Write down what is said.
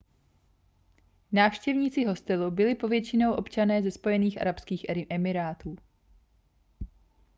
návštěvníci hostelu byli povětšinou občané ze spojených arabských emirátů